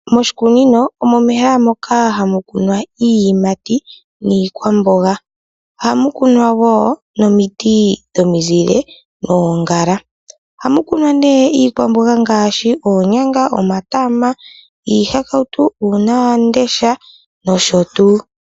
Moshikunino omo mehala moka hamu kunwa iiyimati, niikwamboga. ohamu woo nomiti dhomizile noongala, ohamu kunwa nee iikwamboga ngaashi, oonyanga, omatama, iihakautu, uuna wamundesha nosho tuu.